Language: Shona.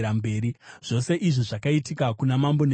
Zvose izvi zvakaitika kuna Mambo Nebhukadhinezari.